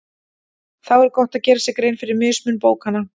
Þá er gott að gera sér grein fyrir mismun bókanna.